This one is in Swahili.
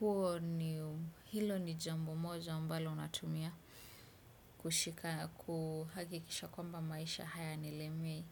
huo ni hilo ni jambo moja ambalo natumia kuhakikisha kwamba maisha hayanilemei.